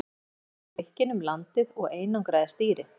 Þannig ferðaðist Grikkinn um landið og einangraði stýri.